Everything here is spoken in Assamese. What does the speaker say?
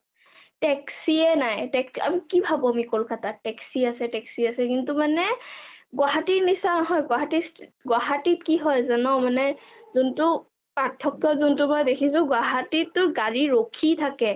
taxi য়ে নাই । আমি কি ভাবো কলকতাত taxi আছে taxi আছে কিন্তু মানে গুৱাহাটী নিচিনা নহয়, গুৱাহাটী গুৱাহাটী ত কি হয় জান মানে যোনটো পাথক্য যোনটো মই দেখিছো মই গুৱাহাটীত টো গাড়ী ৰখি থাকে